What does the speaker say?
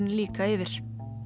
líka yfir